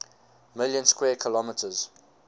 million square kilometers